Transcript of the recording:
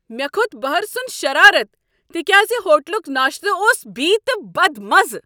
مےٚ کھوٚت بہرٕ سُند شرارتھ تکیاز ہوٹلک ناشتہٕ اوس بی تہٕ بد مزٕ۔